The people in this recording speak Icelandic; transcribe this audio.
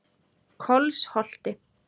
Kolsholti